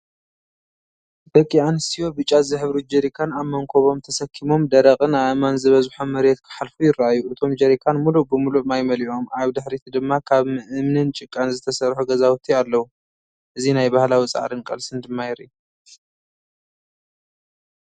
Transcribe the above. ደቂ ኣንስትዮ፡ ብጫ ዝሕብሩ ጀሪካን ኣብ መንኵቦም ተሰኪሞም ደረቕን ኣእማን ዝበዝሖ መሬት ክሓልፉ ይረኣዩ። እቶም ጀሪካን ምሉእ ብምሉእ ማይ መሊኦም ኣብ ድሕሪት ድማ ካብ እምንን ጭቃን ዝተሰርሑ ገዛውቲ ኣለዉ። እዚ ናይ ባህላዊ ጻዕርን ቃልስን ድማ የርኢ።